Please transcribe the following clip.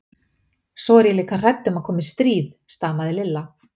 Svo er ég líka hrædd um að komi stríð. stamaði Lilla.